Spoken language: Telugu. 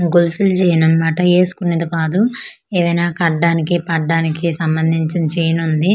గోల్సుల జైన్ అన్నమాట ఎస్కునేది కాదు ఏవైనా కడ్డానికి పడ్డానికి సంబందించిన చైన్ వుంది.